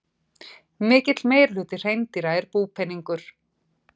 Mikill meirihluti hreindýra er búpeningur.